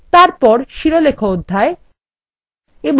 তারপর শিরোলেখ অধ্যায়